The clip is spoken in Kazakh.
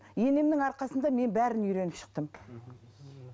енемнің арқасында мен бәрін үйреніп шықтым